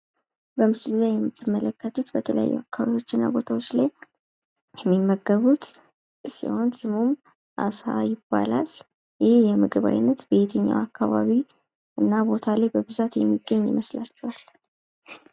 በምስሉ ላይ የምትመለከቱት በተለያዩ አካባቢዎች እና ቦታዎች ላይ የሚመገቡት ሲሆን የምግብ አይነት አሳ ይባላል። ይህ የምግብ አይነት በየትኛው አካባቢ እና በብዛት የሚገኝ ይመስላችኋል?